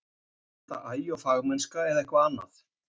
Er þetta agi og fagmennska eða eitthvað annað?